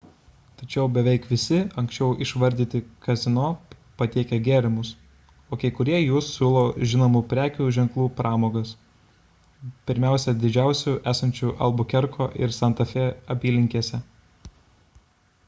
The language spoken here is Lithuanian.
tačiau beveik visi anksčiau išvardyti kazino patiekia gėrimus o kai kurie jų siūlo žinomų prekių ženklų pramogas pirmiausia didžiausių esančių albukerko ir santa fė apylinkėse